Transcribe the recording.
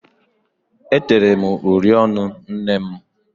E tere uri ọnụ nnem.